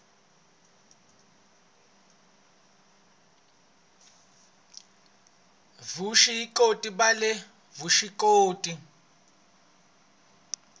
vusw ikoti bya le vuswikoti